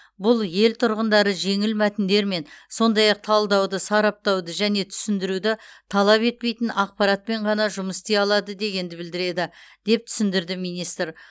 бұл ел тұрғындары жеңіл мәтіндермен сондай ақ талдауды сараптауды және түсіндіруді талап етпейтін ақпаратпен ғана жұмыс істей алады дегенді білдіреді деп түсіндірді министр